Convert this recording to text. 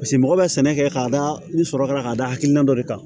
Paseke mɔgɔ bɛ sɛnɛ kɛ k'a da ni sɔrɔ ka da hakilina dɔ de kan